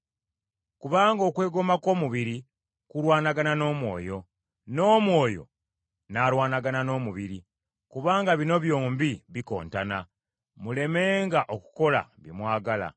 Kubanga okwegomba kw’omubiri kulwanagana n’Omwoyo, n’Omwoyo n’alwanagana n’omubiri; kubanga bino byombi bikontana, mulemenga okukola bye mwagala.